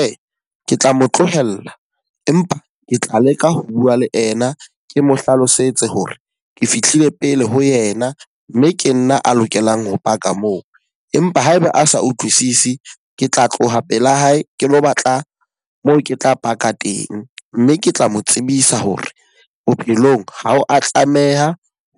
Ee, ke tla mo tlohella. Empa ke tla leka ho bua le ena. Ke mo hlalosetse hore ke fihlile pele ho yena mme ke nna a lokelang ho paka moo. Empa haeba a sa utlwisisi, ke tla tloha pela hae ke lo batla moo ke tla paka teng. Mme ke tla mo tsebisa hore bophelong ha o a tlameha